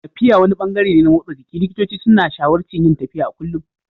Tafiya wani ɓangare ne na motsa jiki, likitoci sun shawararci yin tafiya a kullum.